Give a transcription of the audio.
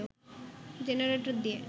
generator দিয়ে